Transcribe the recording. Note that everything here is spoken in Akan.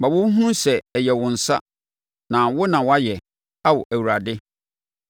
Ma wɔnhunu sɛ ɛyɛ wo nsa, na wo na woayɛ, Ao Awurade.